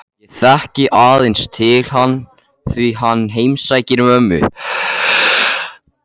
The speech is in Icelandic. Ég þekki aðeins til hans því hann heimsækir mömmu